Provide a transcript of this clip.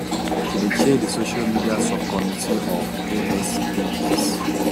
she dey chair di social media subcommittee of asps